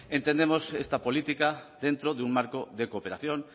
entendemos esta política dentro de un marco de cooperación